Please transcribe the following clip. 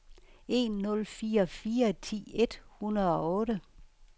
en nul fire fire ti et hundrede og otte